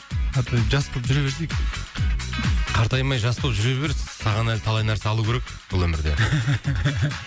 жас болып жүре берсек қартаймай жас болып жүре бер саған әлі талай нәрсе алу керек бұл өмірде